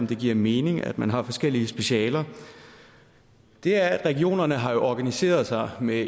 det giver mening at man har forskellige specialer er at regionerne jo har organiseret sig med